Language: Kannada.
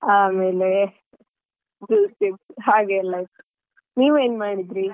ಆಮೇಲೆ juice ಇತ್ತು ಹಾಗೆಲ್ಲಾ ಇತ್ತು ನೀವ್ ಏನ್ಮಾಡಿದ್ರಿ?